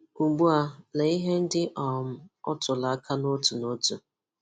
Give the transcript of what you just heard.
Ugbu a, lee ihe ndị um ọ tụrụ aka n'ótù n'ótù: